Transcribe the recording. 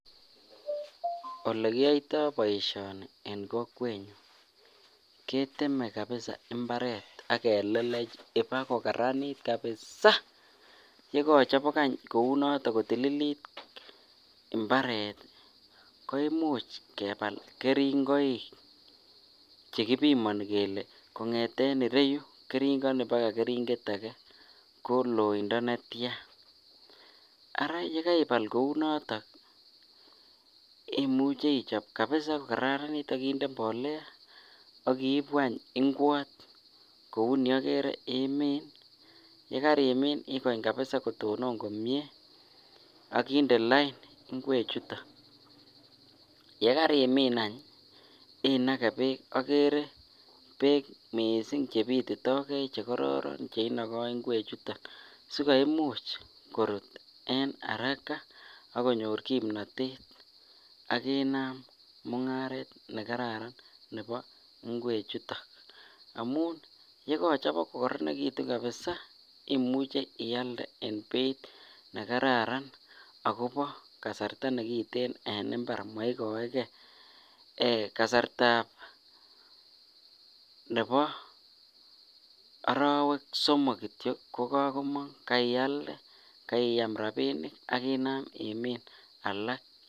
Olekiyoitoboishoni en kokwenyun keteme kabisa imbaret ak kelelech ibakokaranit kabisaa, yekochopok any kounoton kotililit imbaret ko imuch kebal kering'oik chekibimoni kelee kong'eten ireyu kering'oni baka kering'et akee ko loindo netian, araa yekeibal kounoton imuche ichob kabisaa ko kararanit ak inde mbolea ak ibuu any ingwot kouni okere, imiin, yekarimin ikony kabisa kotonon komie akinde lain ing'we chuton, yekarimiin any inake beek, okere beek mising chebititoke chekororon cheinoko ing'we chuton sikoimuch korut araka ak konyor kimnotet ak inaam mung'aret nekararan nebo ing'we chuton amun yekochobok ko koronekitu kabisaa imuche ialde en beit nekararan akobo kasarta nekiten en imbar moikoeke, kasartab nebo orowek somok kityo kokomong, kaialde, kaiam rabinik ak inaam imin alak.